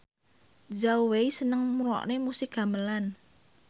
Zhao Wei seneng ngrungokne musik gamelan